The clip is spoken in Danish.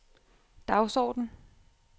dagsorden